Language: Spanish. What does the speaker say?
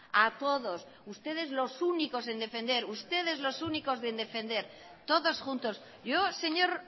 a todos ustedes los únicos en defender ustedes los únicos en defender todos juntos yo señor